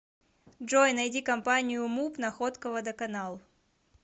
джой найди компанию муп находка водоканал